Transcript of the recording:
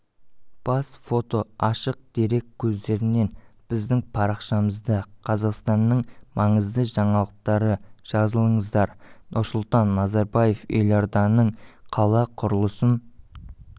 бас фото ашық дерек көздерінен біздің парақшамызда қазақстанның маңызды жаңалықтары жазылыңыздар нұрсұлтан назарбаев елорданың қала құрылысын